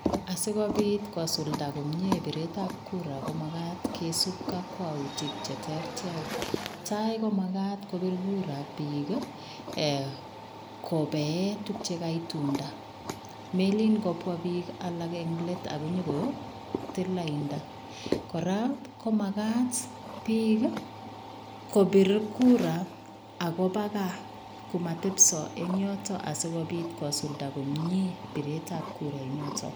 Asikobit kosulda komie biretab kura komakat kisub kokwoutik cheterter, netaii komakat kobir Kura biik eeh kobee tukuk chekaitunda, meleen kobwaa biik alak en leet akonyo kotil lainda, kora komakat biik kobir kura ak koba kaa komotebso eng' yoton asikobiit kosulda komnyee bireetab kura inotok.